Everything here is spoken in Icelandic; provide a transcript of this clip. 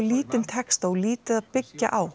lítinn texta og lítið að byggja á